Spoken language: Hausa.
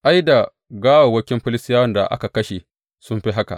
Ai, da gawawwakin Filistiyawan da aka kashe sun fi haka.